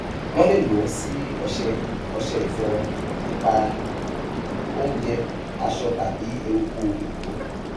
wọn lè lò ó sí ọṣẹ ọṣẹ ìfọrun ìpara oúnjẹ aṣọ tàbí eruku òdòdó